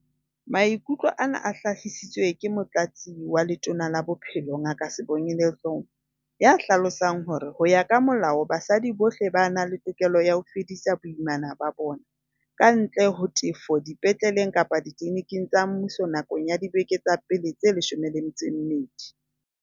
Maikutlo ana a hlahisitswe ke Motlatsi wa Letona la Bophelo, Ngaka Sibongile Dhlomo, ya hlalosang hore, ho ya ka molao, basadi bohle ba na le tokelo ya ho fedisa boimana ba bona, kantle ho tefo, dipetleleng kapa ditliliniking tsa mmuso nakong ya dibeke tsa pele tse 12.